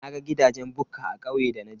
Naga gidajen bukka a kauye da naje.